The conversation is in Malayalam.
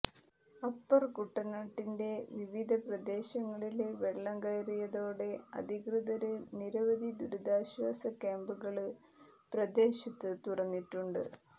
അപ്പര് കുട്ടനാടിന്റെ വിവിധ പ്രദേശങ്ങളില് വെള്ളം കയറിയതോടെ അധികൃതര് നിരവധി ദുരിതാശ്വാസ ക്യാമ്പുകള് പ്രദേശത്ത് തുറന്നിട്ടുണ്ട്